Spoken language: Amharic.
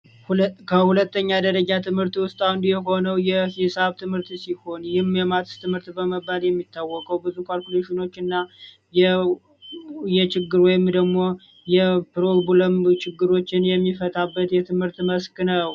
ከሁለተኛ ደረጃ ትምህርት ውስጥ አንዱ የሆነው የሂሳብ ትምህርት ሲሆን የሂሳብ ትምህርት ማትስ በመባል የሚታወቀው ብዙ ካልኩሌሽኖችን እና የፕሮግራም ችግሮችን የሚፈታበት የትምህርት መስክ ነው።